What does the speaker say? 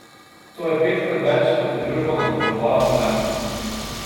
To je petkrat več, kot je družba napovedovala novembra.